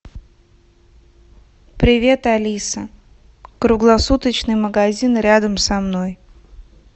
привет алиса круглосуточный магазин рядом со мной